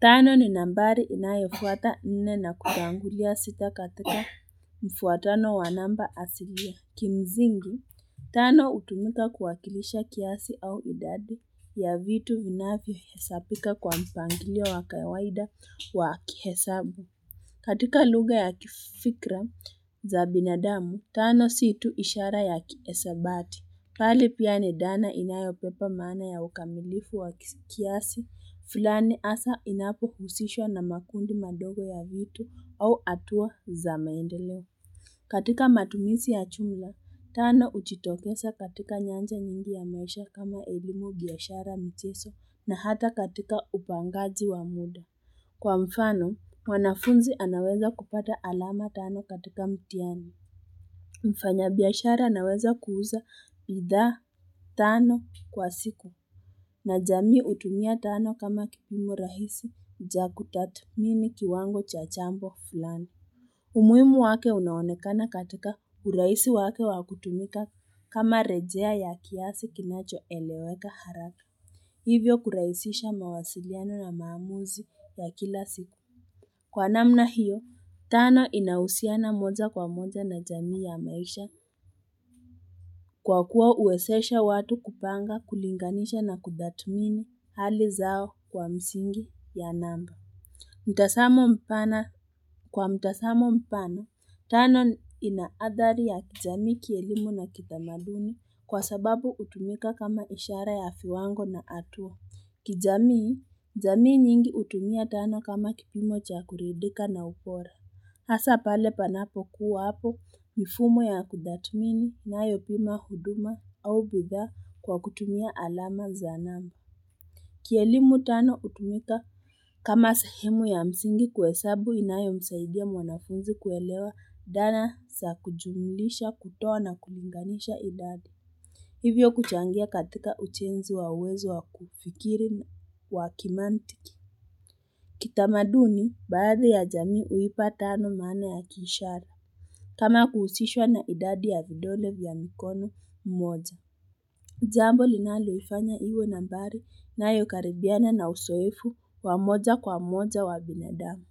Tano ni nambari inayofuata nne na kutangulia sita katika mfuatano wa namba asilia. Kimsingi, tano hutumika kuwakilisha kiasi au idadi ya vitu vinavyohesabika kwa mpangilio wa kawaida wa kihesabu. Katika lugha ya kifikra za binadamu, tano si tu ishara ya kihisabati. Bali pia ni dhana inayobeba maana ya ukamilifu wa kiasi fulani hasa inapohusishwa na makundi madogo ya vitu au hatua za maendeleo. Katika matumizi ya jumla, tano hujiitokeza katika nyanja nyingi ya maisha kama elimu, biashara, michezo na hata katika upangaji wa muda. Kwa mfano, mwanafunzi anaweza kupata alama tano katika mtihani. Mfanyabiashara anaweza kuuza bidhaa tano kwa siku na jamii hutumia tano kama kipimo rahisi cha kutathmini kiwango cha jambo fulani. Umuhimu wake unaonekana katika urahisi wake wa kutumika kama rejea ya kiasi kinachoeleweka haraka. Hivyo kurahisisha mawasiliano na maamuzi ya kila siku. Kwa namna hiyo, tano inahusiana moja kwa moja na jamii ya maisha kwa kuwa huwezesha watu kupanga, kulinganisha na kutathmini hali zao kwa misingi ya namba. Kwa mtazamo mpana, tano ina adhari ya kijamii, kielimu na kitamaduni kwa sababu hutumika kama ishara ya viwango na hatua. Kijamii, jamii nyingi hutumia tano kama kipimo cha kuridhika na upole. Hasa pale panapokuwa hapo mifumo ya kutathmini inayopima huduma au bidhaa kwa kutumia alama za namba. Kielimu tano hutumika kama sehemu ya msingi kuhesabu inayomsaidia mwanafunzi kuelewa dhana za kujumulisha, kutoa na kulinganisha idadi. Hivyo kuchangia katika ujenzi wa uwezo wa kufikiri wa kimantiki. Kitamaduni, baadhi ya jamii huipa tano maana ya kiishara. Kama kuhusishwa na idadi ya vidole vya mkono mmoja. Jambo linaloifanya iwe nambari inayo karibiana na uzoefu wa moja kwa moja wa binadamu.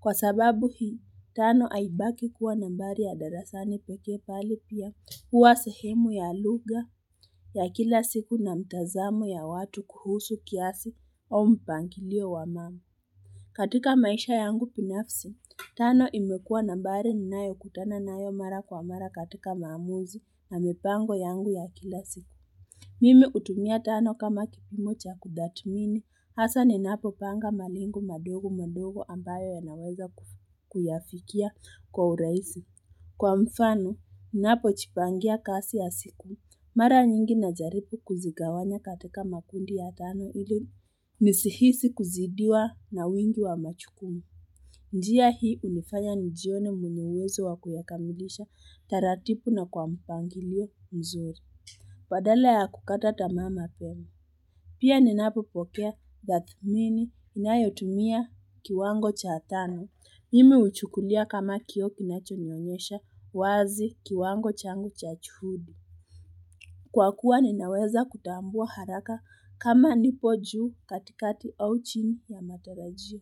Kwa sababu hii, tano haibaki kuwa nambari ya darasani pekee bali pia huwa sehemu ya lugha ya kila siku na mtazamo ya watu kuhusu kiasi au mpangilio wa mama. Katika maisha yangu binafsi, tano imekuwa nambari ninayokutana nayo mara kwa mara katika maamuzi na mipango yangu ya kila siku. Mimi hutumia tano kama kipimo cha kutathmini hasa ninapopanga malengo madogo madogo ambayo yanaweza kuyafikia kwa urahisi. Kwa mfano, ninapojipangia kazi ya siku. Mara nyingi najaribu kuzigawanya katika makundi ya tano ili nisihisi kuzidiwa na wingi wa majukumu. Njia hii hunifanya nijione mnunuzi wa kuyakamilisha taratibu na kwa mpangilio mzuri. Badala ya kukata tamaa mapema. Pia ninapopokea tathmini inayotumia kiwango cha tano. Mimi huchukulia kama kioo kinachonionyesha wazi kiwango changu cha juhudi. Kwa kuwa ninaweza kutambua haraka kama nipo juu katikati au chini ya matarajio.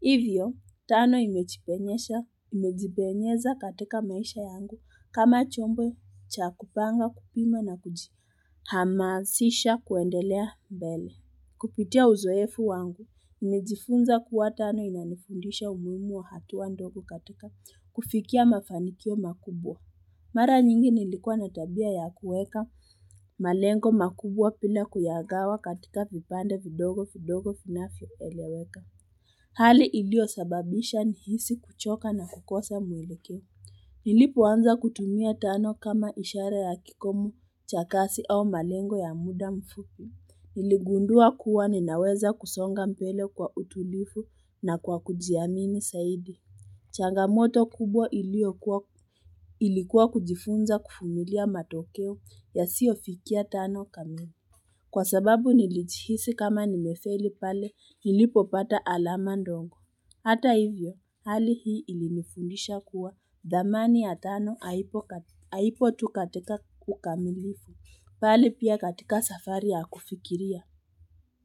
Hivyo, tano imejipenyesha, imejizipenyeza katika maisha yangu kama chombo cha kupanga, kupima na kujihamasisha kuendelea mbele. Kupitia uzoefu wangu, nilijifunza kuwa tano inanifundisha umuhimu wa hatua ndogo katika kufikia mafanikio makubwa. Mara nyingi nilikuwa na tabia ya kuweka malengo makubwa bila kuyagawa katika vipande vidogo vidogo vinavyoeleweka. Hali iliyo sababisha nihisi kuchoka na kukosa mwelekeo. Nilipoanza kutumia tano kama ishara ya kikomo cha kasi au malengo ya muda mfupi, niligundua kuwa ninaweza kusonga mbele kwa utulivu na kwa kujiamini zaidi. Changamoto kubwa iliyokuwa ilikuwa kujifunza kuvumilia matokeo yasiyofikia tano kamili. Kwa sababu nilijihisi kama nimefeli pale nilipopata alama ndogo. Hata hivyo hali hii ilinifundisha kuwa dhamani ya tano haipo haipo tu katika ukamilivu, bali pia katika safari ya kufikiria.